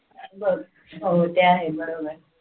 बर हो ते आहे बरोबर